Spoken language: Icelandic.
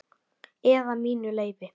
Eða mínu leyfi.